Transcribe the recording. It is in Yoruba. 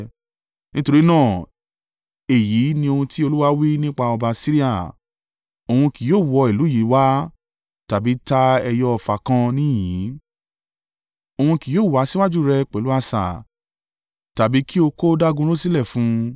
“Nítorí náà, èyí ni ohun tí Olúwa wí nípa ọba Asiria, “Òun kì yóò wọ ìlú yìí wá tàbí ta ẹyọ ọfà kan níhìn-ín Òun kì yóò wá síwájú rẹ pẹ̀lú asà tàbí kí ó kó dágunró sílẹ̀ fún un.